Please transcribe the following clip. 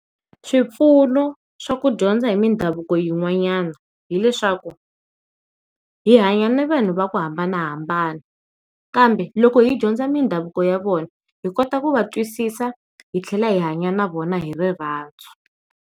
Swipfuno swa ku dyondza hi mindhavuko yin'wanyana hileswaku hi hanya na vanhu va ku hambanahambana kambe loko hi dyondza mindhavuko ya vona hi kota ku va twisisa hi tlhela hi hanya na vona hi rirhandzu.